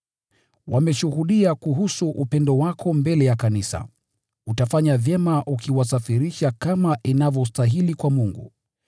Wameshuhudia kuhusu upendo wako mbele ya kanisa. Utafanya vyema ukiwasafirisha kama inavyostahili kwa Mungu.